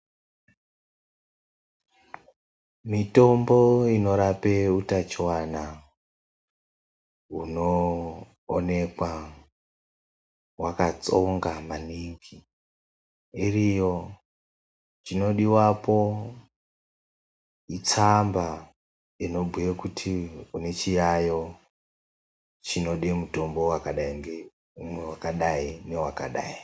Mitombo inorape utachiwana hunoonekwa hwakatsonga maningi ,iriyo. Chinodiwapo itsamba inobhuye kuti une chiyayo, chinode mutombo wakadai ngeumwe wakadai ,newakadai.